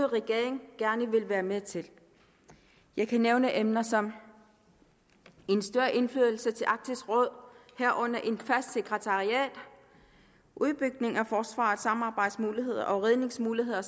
regering gerne vil være med til jeg kan nævne emner som en større indflydelse til arktisk råd herunder et fast sekretariat udbygning af forsvarets samarbejdsmuligheder redningsmuligheder